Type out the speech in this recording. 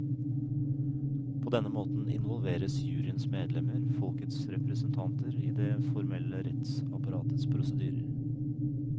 På denne måten involveres juryens medlemmer, folkets representanter, idet formelle rettsapparatets prosedyrer.